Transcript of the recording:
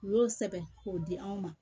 U y'o sɛbɛn k'o di anw ma